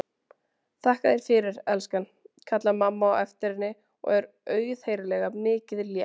Þakka þér fyrir, elskan, kallar mamma á eftir henni og er auðheyrilega mikið létt.